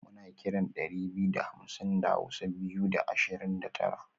muna kiran dari biyu da hamsin da hausa (Biyu da Ashirin da Tara)